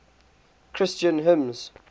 christian hymns